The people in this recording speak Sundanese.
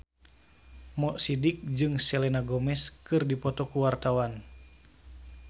Mo Sidik jeung Selena Gomez keur dipoto ku wartawan